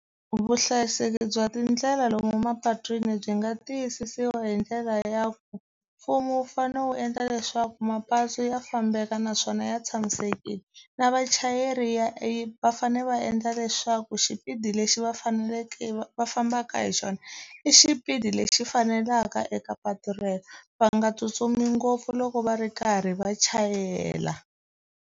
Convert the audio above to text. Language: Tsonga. Vuhlayiseki bya tindlela lomu mapatwini byi nga tiyisisiwa hi ndlela ya ku mfumo wu fanele wu endla leswaku mapatu ya fambeka naswona ya tshamisekile na vachayeri ya e va fanele va endla leswaku xipidi lexi va faneleke va fambaka hi xona i xipidi lexi fanelaka eka patu rero va nga tsutsumi ngopfu loko va ri karhi va chayela.